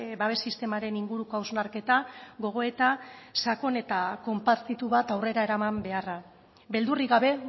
babes sistemaren inguruko hausnarketa gogoeta sakon eta konpartitu bat aurrera eraman beharra beldurrik gabe